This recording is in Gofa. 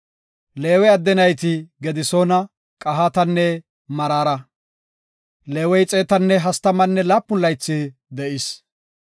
Leewe adde nayti Gedisoona, Qahaatanne Maraara. Leewey xeetanne hastamanne laapun laythi de7is.